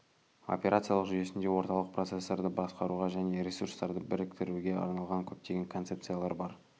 операциялық жүйесінде орталық процессорды басқаруға және ресурстарды біріктіруге арналған көптеген концепциялар бар